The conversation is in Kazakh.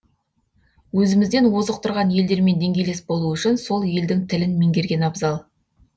өзімізден озық тұрған елдермен деңгейлес болу үшін сол елдің тілін меңгерген абзал